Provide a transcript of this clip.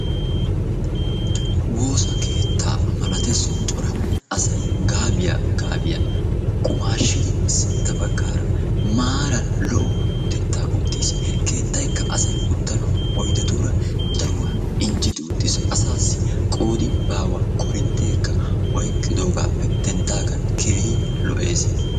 Woossa keettaa malatees cora asay gaabiyaa gaabiyaa qumaashidi sintta baggaara maaran lo"o utettaa uttiis. keettayikka asay uttanawu oydetuura daruwaa injetti uttiis. asaassi qoodi baawa. korintteekka oyqqidoogappe denddagan keehi lo"ees.